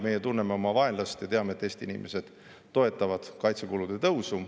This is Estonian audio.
Meie tunneme oma vaenlast ja teame, et Eesti inimesed toetavad kaitsekulude tõusu.